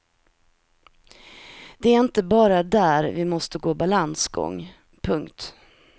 Det är inte bara där vi måste gå balansgång. punkt